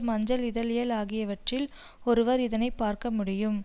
மஞ்சள் இதழியல் ஆகியவற்றில் ஒருவர் இதனை பார்க்க முடியும்